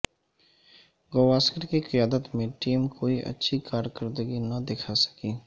گاوسکر کی قیادت میں ٹیم کوئی اچھی کارکردگی نہ دکھا سکی